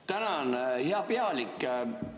Tänan, hea pealik!